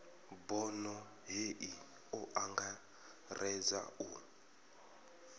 bono hei o angaredza u